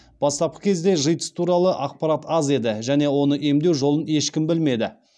бастапқы кезде житс туралы ақпарат аз еді және оны емдеу жолын ешкім білмеді